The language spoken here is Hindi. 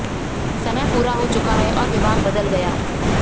समय पूरा हो चुका है और विभाग बदल गया